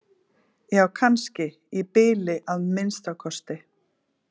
Já kannski, í bili að minnsta kosti.